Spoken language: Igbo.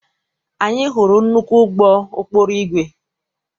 Anyị hụrụ nnukwu ụgbọ ụkpụrụ igwe.